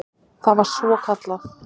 Það var svokallað